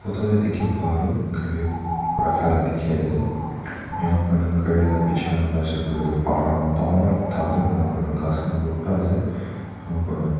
photo tae dekhi pa toh gari rakha laga dekhi ase enika kurina gari laga pichey khan sai sey koiley toh pahar dangor ekta asa enika kurina ghas khan bhorta asa enika kurina.